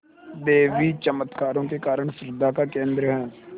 देवी चमत्कारों के कारण श्रद्धा का केन्द्र है